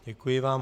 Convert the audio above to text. Děkuji vám.